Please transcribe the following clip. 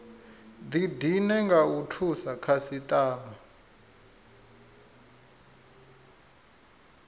didine nga u thusa khasitama